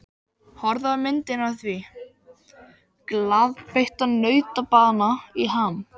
Kannski er ég þegar allt kemur til alls mestur kjarkmaðurinn.